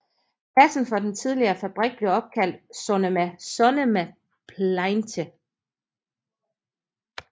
Pladsen for den tidligere fabrik blev opkaldt Sonnema Sonnemapleintje